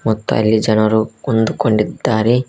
ಮತ್ತು ಅಲ್ಲಿ ಜನರು ಕುಂದು ಕೊಂಡಿದ್ದಾರೆ.